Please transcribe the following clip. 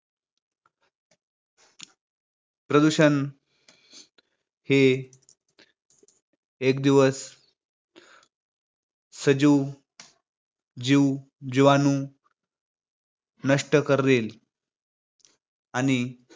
प्रदूषण हे एक दिवस सजीव जीव जिवाणू नष्ट करेल आणि